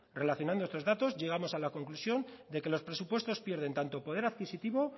relacionando a estos datos llegamos a la conclusión de que los presupuestos pierden tanto poder adquisitivo